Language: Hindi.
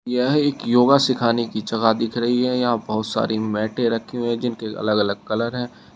यह एक योगा सिखाने की जगह दिख रही है यहां बहोत सारी मैटे रखी हुई है जिनके अलग अलग कलर है।